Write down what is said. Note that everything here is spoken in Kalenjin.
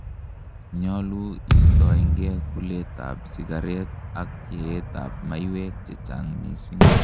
nyalu istoengei kulet ab sigaret ak yeet ab maiywek chechang missing